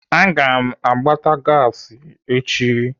Aga m agbata gasi echi.